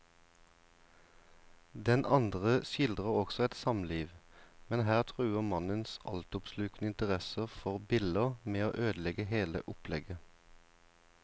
Den andre skildrer også et samliv, men her truer mannens altoppslukende interesse for biller med å ødelegge hele opplegget.